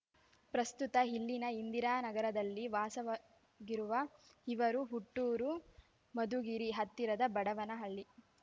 ಪ್ರಸ್ತುತ ಇಲ್ಲಿನ ಇಂದಿರಾನಗರದಲ್ಲಿ ವಾಸವಾಗಿರುವ ಇವರ ಹುಟ್ಟೂರು ಮಧುಗಿರಿ ಹತ್ತಿರದ ಬಡವನಹಳ್ಳಿ